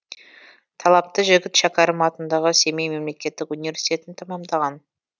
талапты жігіт шәкәрім атындағы семей мемлекеттік университетін тәмамдаған